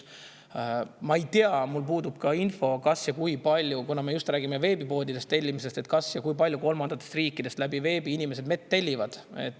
Ma ei tea, mul puudub info – me räägime ju veebipoodidest tellimisest –, kas või kui palju inimesed kolmandatest riikidest veebi kaudu mett tellivad.